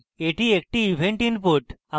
এটি একটি event input